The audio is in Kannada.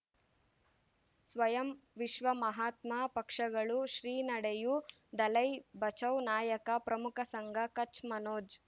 ಸ್ವಯಂ ವಿಶ್ವ ಮಹಾತ್ಮ ಪಕ್ಷಗಳು ಶ್ರೀ ನಡೆಯೂ ದಲೈ ಬಚೌ ನಾಯಕ ಪ್ರಮುಖ ಸಂಘ ಕಚ್ ಮನೋಜ್